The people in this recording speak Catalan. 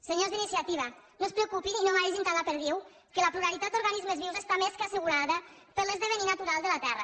senyors d’iniciativa no es preocupin i no maregin tant la perdiu que la pluralitat d’organismes vius està més que assegurada per l’esdevenir natural de la terra